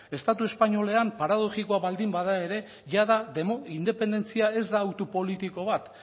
estatu espainolean paradoxikoa baldin bada ere jada demo independentzia ez da auto politiko bat